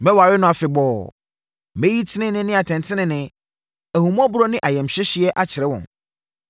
Mɛware wo afebɔɔ; mɛyi tenenee ne atɛntenenee, ahummɔborɔ ne ayamhyehyeɛ akyerɛ wo.